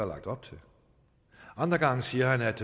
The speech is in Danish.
lagt op til andre gange siger han at